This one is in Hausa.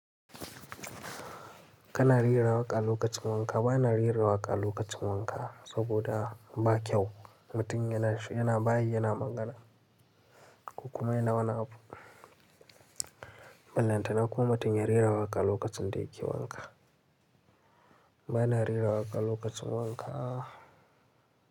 Kana rera waƙa lokacin wanka. Bana rera waƙa lokacin wanka saboda ba kyau. Mutum yana, yana bayi, yana magana kuma yana wani abu. Bellanta na ko mutum ya rera waƙa lokacin da yake wanka. Bana rera waƙa lokacin wanka.